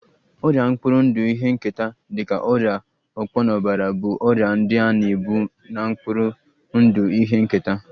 Ọrịa mkpụrụ ndụ ihe nketa dị ka ọrịa ọkpọnọbara bụ ọrịa ndị a na-ebu na mkpụrụ ndụ ihe nketa